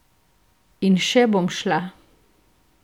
In še bom šla.